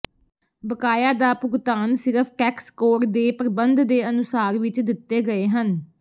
ਬਕਾਇਆ ਦਾ ਭੁਗਤਾਨ ਸਿਰਫ ਟੈਕਸ ਕੋਡ ਦੇ ਪ੍ਰਬੰਧ ਦੇ ਅਨੁਸਾਰ ਵਿਚ ਦਿੱਤੇ ਗਏ ਹਨ